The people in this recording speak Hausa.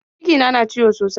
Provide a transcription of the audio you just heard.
Cikina na ciwo sosai.